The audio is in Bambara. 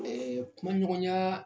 kuma ɲɔgɔnyaa